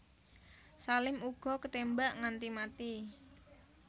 Salim uga ketémbak nganti mati